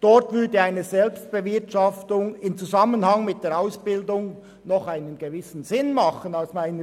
Dort würde eine Selbstbewirtschaftung im Zusammenhang mit der Ausbildung aus meiner Sicht noch einen gewissen Sinn ergeben.